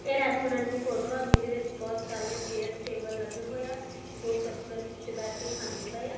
ਇਹ ਰੈਸਟੋਰੈਂਟ ਦੀ ਫੋਟੋ ਆ ਜਿਹਦੇ ਵਿੱਚ ਬਹੁਤ ਸਾਰੀਆਂ ਚੇਅਰਸ ਟੇਬਲ ਲੱਗੇ ਹੋਏ ਆ। ਦੋ ਕਸਟਮਰ ਪਿੱਛੇ ਬੈਠ ਕੇ ਖਾਂਦੇ ਪਏ ਆ।